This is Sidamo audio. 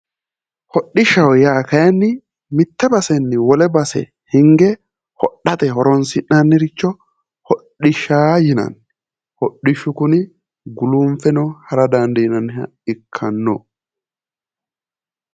Hodishshaho yaa kaayiinni mitte basenni wole base hinge hodhate horonsi'naniricho hodhishsha yinanni. hodhishshu kuni gulunfeno hara dandiinanniha ikanno.